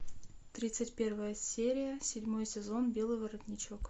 тридцать первая серия седьмой сезон белый воротничок